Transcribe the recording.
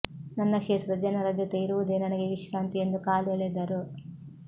ನನ್ನ ಕ್ಷೇತ್ರದ ಜನರ ಜೊತೆ ಇರುವುದೇ ನನಗೆ ವಿಶ್ರಾಂತಿ ಎಂದು ಕಾಲೆಳೆದರು